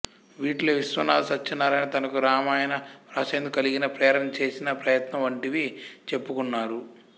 వీటిలో విశ్వనాథ సత్యనారాయణ తనకు రామాయణ వ్రాసేందుకు కలిగిన ప్రేరణ చేసిన ప్రయత్నం వంటివి చెప్పుకున్నారు